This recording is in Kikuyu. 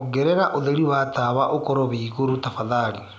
ongereraũtherĩ wa tawaũkorwo wi ĩgũrũ tafadhalĩ